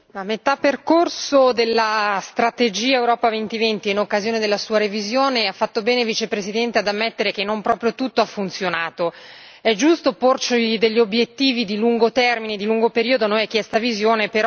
Signor Presidente, onorevoli colleghi, a metà percorso della strategia Europa 2020, in occasione della sua revisione, ha fatto bene, Vicepresidente, ad ammettere che non proprio tutto ha funzionato. È giusto porci degli obiettivi di lungo termine, di lungo periodo a noi è chiesta visione.